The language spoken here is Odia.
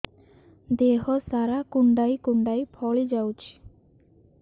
ଦେହ ସାରା କୁଣ୍ଡାଇ କୁଣ୍ଡାଇ ଫଳି ଯାଉଛି